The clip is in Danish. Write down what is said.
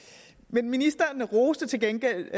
men ministeren roser til gengæld